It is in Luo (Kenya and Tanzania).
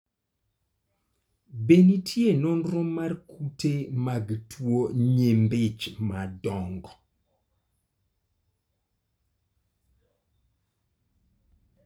Be nitie nonro mar kute mag tuwo nyimbi ich madongo?